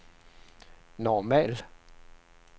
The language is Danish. normal